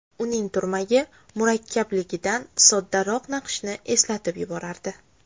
Uning turmagi murakkabligidan soddaroq naqshni eslatib yuborardi.